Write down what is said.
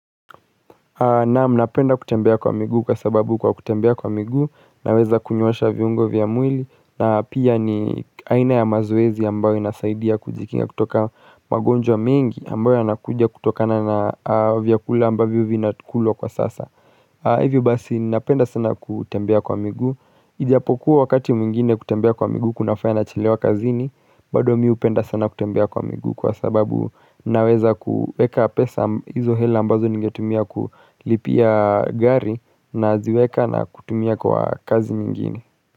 Naamu napenda kutembea kwa migu kwa sababu kwa kutembea kwa migu naweza kunyosha viungo vya mwili na pia ni aina ya mazoezi ambayo inasaidia kujikinga kutoka magonjwa mingi ambayo yanakuja kutokana na viakula ambayo vinakulo kwa sasa. Hivyo basi napenda sana kutembea kwa migu. Ijapokuwa wakati mwingine kutembea kwa migu kunafaya nachilewa kazini, bado mi hupenda sana kutembea kwa migu kwa sababu naweza kuweka pesa hizo hela ambazo ningetumia kulipia gari na ziweka na kutumia kwa kazi mingini.